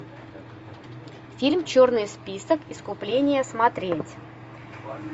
фильм черный список искупление смотреть